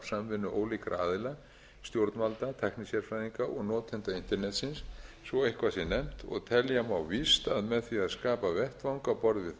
samvinnu ólíkra aðila stjórnvalda tæknisérfræðinga og notenda internetsins svo eitthvað sé nefnt og telja má víst að með því að skapa vettvang á borð